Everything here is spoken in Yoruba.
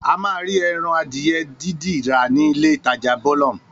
A máa rí ẹran adìyẹ dídì rà nílé ìtajà Bolum